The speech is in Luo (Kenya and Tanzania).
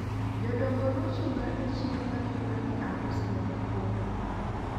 jodongo nochunga e chiro ka gidwa ni aus negi kodhi